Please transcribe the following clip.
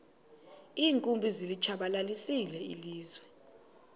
iinkumbi zilitshabalalisile ilizwe